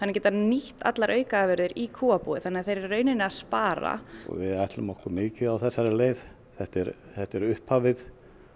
geta nýtt allar aukaafurðir í kúabúið þannig að þeir eru í rauninni að spara við ætlum okkur mikið á þessari leið þetta er þetta er upphafið